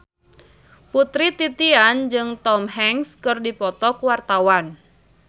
Putri Titian jeung Tom Hanks keur dipoto ku wartawan